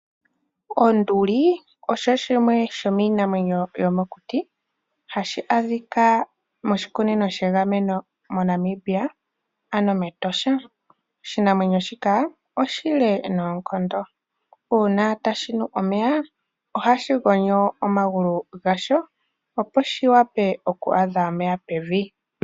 Onduli osho shimwe shomiinamwenyo yomokuti hashi adhika moshikunino shegameno moNamibia ano mEtosha, oshinamwenyo shika oshile noonkondo uuna tashi nu omeya ohashi gonyo omagulu gasho opo shi wape oku adha omeya pevi.